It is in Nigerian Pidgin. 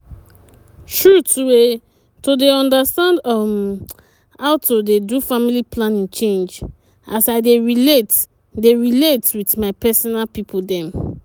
true tteue to dey understand uhmmm how to dey do family planning change as i dey relate dey relate with my personal pipo dem.